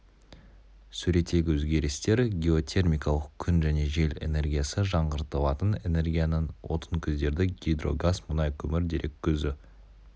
суреттегі өзгерістер геотермикалық күн және жел энергиясы жаңғыртылатын энергияның отын көздері гидро газ мұнай көмір дерек көзі